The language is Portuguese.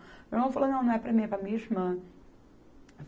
Meu irmão falou, não, não é para mim, é para a minha irmã.